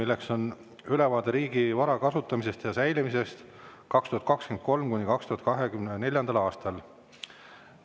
See on ülevaade riigi vara kasutamisest ja säilimisest 2023.–2024. aastal.